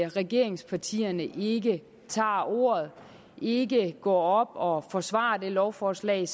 regeringspartierne ikke tager ordet og ikke går op og forsvarer det lovforslag